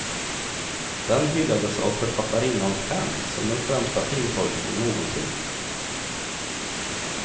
Den hyllades av författarinnans fans som den främsta filmtolkningen någonsin.